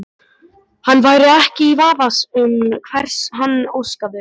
Hann væri ekki í vafa um hvers hann óskaði sér.